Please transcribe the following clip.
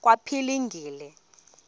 kwaphilingile